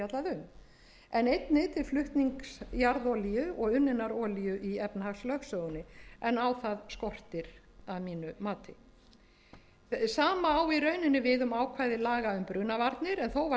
er fjallað um en einnig til flutnings jarðolíu og unninnar olíu í efnahagslögsögunni en á það skortir að mínu mati sama á í rauninni við um ákvæði laga um brunavarnir en þó var